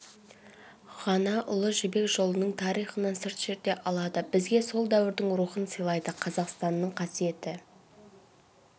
ғана ұлы жібек жолының тарихынан сыр шерте алады бізге сол дәуірдің рухын сыйлайды қазақстанның қасиетті